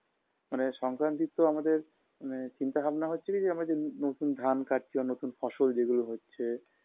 মানে সংক্রান্তি তো আমাদের মানে চিন্তা ভাবনা হচ্ছে কী আমরা যে নতুন ধান কটছি নতুন ফসল যেগুলো হচ্ছে